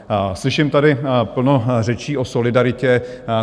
Slyším tady plno řečí o solidaritě.